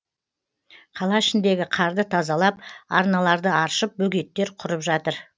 қала ішіндегі қарды тазалап арналарды аршып бөгеттер құрып жатыр